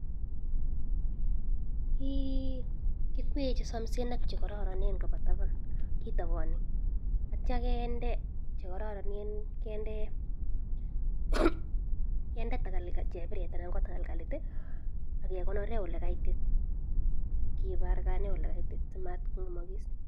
kikwee che somisen ak chekororonen koba taban kitabani atya kende chekororonen kende chebiret anan ko talgalit akekonore ole kaitit kibargane ole kaitit simatkongemokis